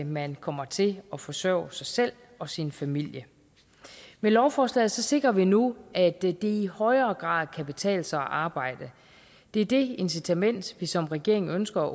man kommer til at forsørge sig selv og sin familie med lovforslaget sikrer vi nu at det i i højere grad kan betale sig at arbejde det er det incitament vi som regering ønsker